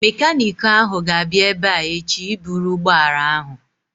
Mekaniiki ahụ ga-abịa ebea echi ịbụrụ ụgbọala ahụ